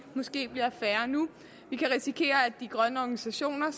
måske bliver færre nu vi kan risikere at de grønne organisationer